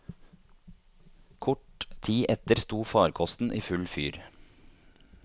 Kort tid etter sto farkosten i full fyr.